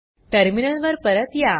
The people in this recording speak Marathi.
टर्मिनल वर परत या